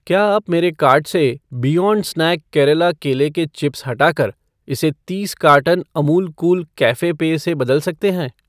क्या आप मेरे कार्ट से बियॉन्ड स्नैक केरला केले के चिप्स हटाकर इसे तीस कार्टन अमूल कूल कैफ़े पेय से बदल सकते हैं